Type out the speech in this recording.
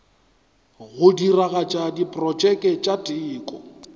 go diragatša diprotšeke tša teko